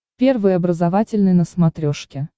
первый образовательный на смотрешке